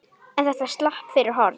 En þetta slapp fyrir horn.